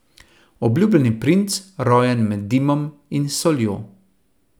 Obljubljeni princ, rojen med dimom in soljo.